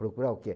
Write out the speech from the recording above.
Procurar o quê?